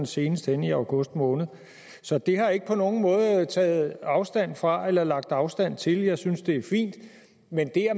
senest henne i august måned så det har jeg ikke på nogen måde taget afstand fra eller lagt afstand til jeg synes det er fint men det at